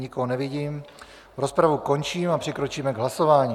Nikoho nevidím, rozpravu končím a přikročíme k hlasování.